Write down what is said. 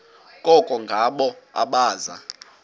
koko ngabo abaza